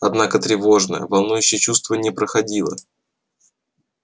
однако тревожное волнующее чувство не проходило